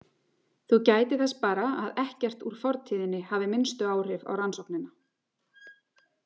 Þú gætir þess bara að ekkert úr fortíðinni hafi minnstu áhrif á rannsóknina.